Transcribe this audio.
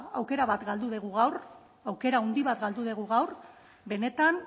aukera bat galdu dugu gau aukera handi bat galdu dugu gaur benetan